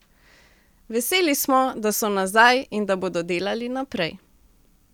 Veseli smo, da so nazaj in da bodo delali naprej.